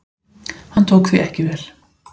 Hann tók því ekki vel.